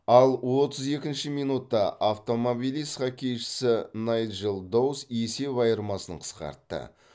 ал отыз екінші минутта автомобилист хоккейшісі найджел доус есеп айырмасын қысқартты